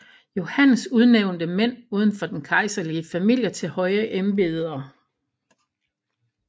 Johannes udnævnte mænd uden for den kejserlige familie til høje embeder